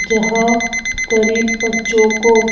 जहां गरीब बच्चों को--